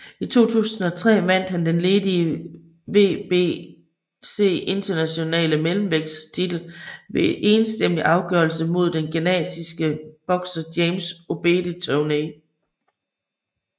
I 2003 vandt han den ledige WBC Internationale mellemvægttitel ved enstemmig afgørelse mod den ghanesiske bokser James Obede Toney